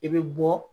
I bɛ bɔ